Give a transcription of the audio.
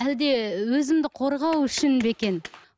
әлде өзімді қорғау үшін бе екен